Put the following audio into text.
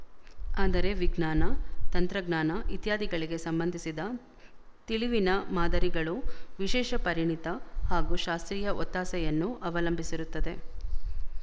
ಆದರೆ ವಿಜ್ಞಾನ ತಂತ್ರಜ್ಞಾನ ಇತ್ಯಾದಿಗಳಿಗೆ ಸಂಬಂಧಿಸಿದ ತಿಳಿವಿನ ಮಾದರಿಗಳು ವಿಶೇಶ ಪರಿಣಿತ ಹಾಗೂ ಶಾಸ್ತ್ರೀಯ ಒತ್ತಾಸೆಯನ್ನು ಅವಲಂಬಿಸಿರುತ್ತದೆ